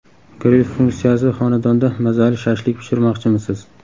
Gril funksiyasi Xonadonda mazali shashlik pishirmoqchimisiz?